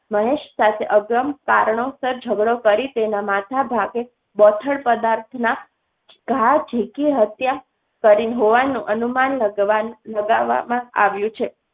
મહેશ સાથે અગમ્ય કારણોસર ઝઘડો કરી તેના માથા ભાગે બોથડ પદાર્થના ઘા ઝીકી હત્યા કરી હોવાનું અનુમાન લગાવવા માં આવ્યું છે.